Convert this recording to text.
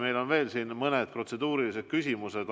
Meil on veel mõned protseduurilised küsimused.